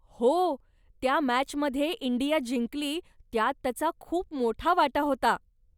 हो, त्या मॅचमध्ये इंडिया जिंकली त्यात त्याचा खूप मोठा वाटा होता.